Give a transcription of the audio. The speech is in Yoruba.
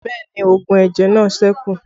Bẹẹ ni oògùn ẹ̀jẹ̀ náà sẹ́kù